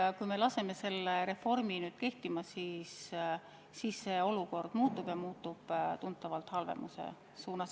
Kui me laseme reformil nüüd kehtima hakata, siis olukord muutub, ja muutub tuntavalt halvemuse suunas.